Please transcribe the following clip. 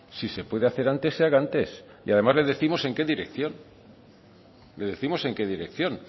si se puede hacer antes se haga antes y además le décimos en qué dirección le décimos en qué dirección